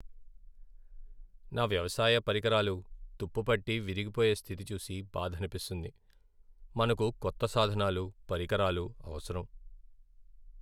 నా వ్యవసాయ పరికరాలు తుప్పు పట్టి విరిగిపోయే స్థితి చూసి బాధనిపిస్తుంది. మనకు కొత్త సాధనాలు, పరికరాలు అవసరం.